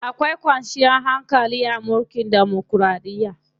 Akwai kwanciyar hankali a mulkin demokiraɗiya.